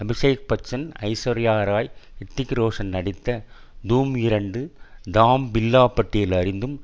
அபிஷேக் பச்சன் ஐஸ்வர்யா ராய் ஹிரித்திக் ரோஷன் நடித்த தூம்இரண்டு தாம் பில்லா பட்டியல் அறிந்தும்